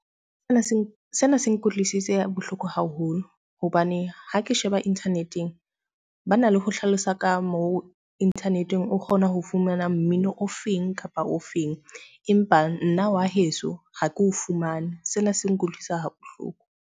Sena se, sena se nkutlwisitse bohloko haholo. Hobane ha ke sheba internet-ng, ba na le ho hlalosa ka moo internet-ng o kgona ho fumana mmino o feng kapa o feng, empa nna wa heso ha ke o fumane. Sena se nkutlwisa ha bohloko.